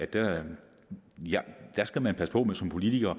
der skal man som politiker